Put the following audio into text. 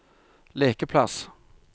lekeplass